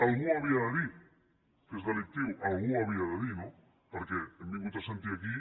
algú ho havia de dir que és delictiu algú ho havia de dir no perquè hem vingut a sentir aquí